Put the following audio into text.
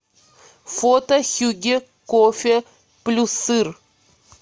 фото хюгге кофе плюссыр